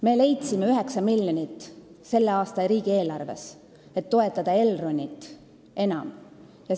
Me leidsime selle aasta riigieelarves 9 miljonit, et Elronit enam toetada.